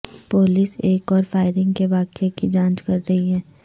police ایک اور firing کے واقعے کی جانچ کر رہی ہے